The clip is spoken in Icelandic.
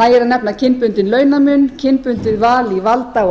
nægir að nefna kynbundinn launamun kynbundið val í valda og